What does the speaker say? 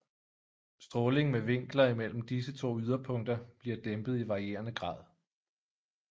Stråling med vinkler imellem disse to yderpunkter bliver dæmpet i varierende grad